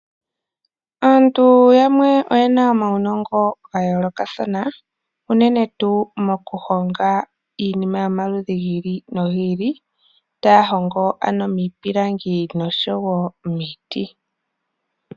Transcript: Aantu yamwe oyena omaunongo gayoolokathana uunene tuu mokuhonga iinima yomaludhi giili nogi ili , taahongo ano miipilangi noshowo miiti.